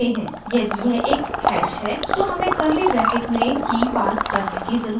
यदि यह एक हैश है तो हमें कर्ली ब्रैकेट में की key पास करने की ज़रुरत है